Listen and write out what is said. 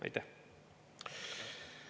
Aitäh!